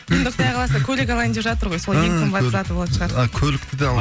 енді құдай қаласа көлік алайын деп жатыр ғой сол ең қымбат заты болатын шығар а көлікті де